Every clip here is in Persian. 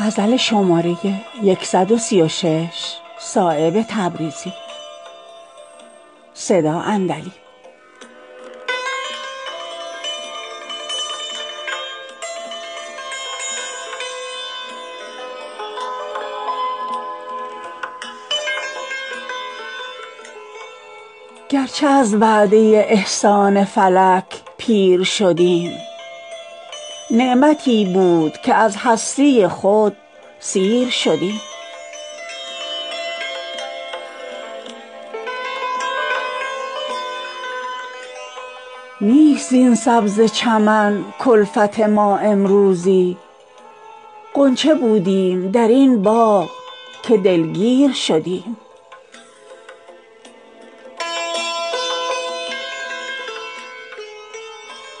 عشق تا هست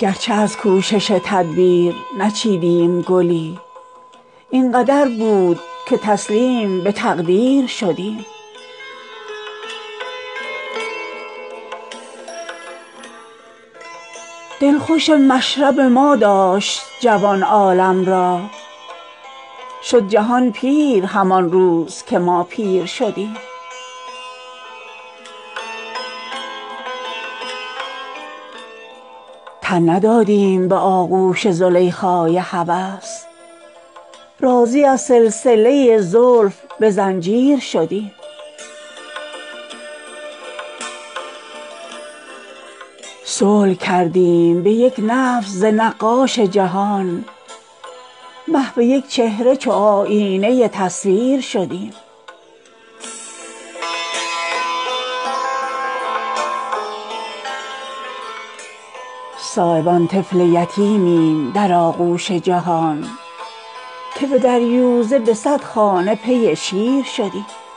عنان را به هوس نتوان داد چون قلم نبض به دست همه کس نتوان داد ناله ای کز سر دردست شنیدن دارد دل به بیهوده درایان جرس نتوان داد نیست هر گوش به اسرار حقیقت لایق طوق زرین به سگ هرزه مرس نتوان داد از دم باد صبا غنچه پریشان گردید دل به افسانه هر سرد نفس نتوان داد چه کند یوسف اگر تن ندهد در زندان تن به آغوش زلیخای هوس نتوان داد عقل از دایره بیخبران بیرون است به خرابات مغان راه عسس نتوان داد ساقی میکده ی قسمت حق مختارست جام اگر صاف و اگر درد به پس نتوان داد تا توان فکر گلوسوز شنیدن صایب هوش خود را به شکر همچو مگس نتوان داد